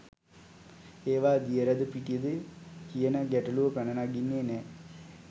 එවා දියරද පිටිද කියන ගැටලුව පැන නගින්නේ නෑ.